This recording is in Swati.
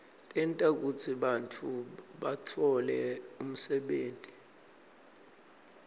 tenta kutsi bantfu batfole umsebenti